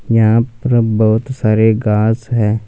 यहाँ पर बहुत सारे घास हैं।